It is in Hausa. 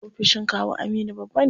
Ofishin kawu Aminu babba ne.